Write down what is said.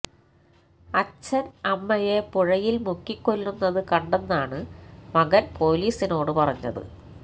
അച്ഛന് അമ്മയെ പുഴയില് മുക്കിക്കൊല്ലുന്നത് കണ്ടെന്നാണ് മകന് പോലീസിനോട് പറഞ്ഞത്